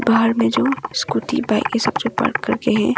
बाहर में जो स्कूटी बाइक ये सब जो पार्क करके हैं।